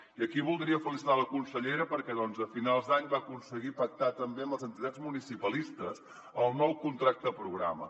i aquí voldria felicitar la consellera perquè a finals d’any va aconseguir pactar també amb les entitats municipalistes el nou contracte programa